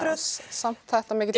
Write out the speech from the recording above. samt þetta mikill